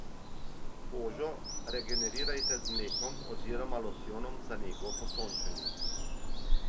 Kožo regenerirajte z mlekom oziroma losjonom za nego po sončenju.